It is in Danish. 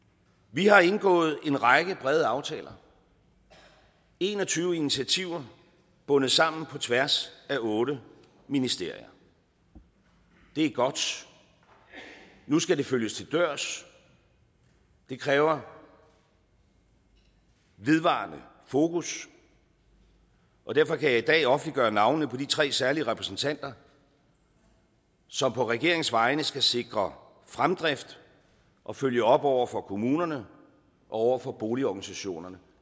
vi har indgået en række brede aftaler en og tyve initiativer bundet sammen på tværs af otte ministerier det er godt nu skal det følges til dørs det kræver vedvarende fokus og derfor kan jeg i dag offentliggøre navnene på de tre særlige repræsentanter som på regeringens vegne skal sikre fremdrift og følge op over for kommunerne og over for boligorganisationerne